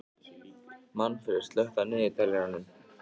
Manfreð, slökktu á niðurteljaranum.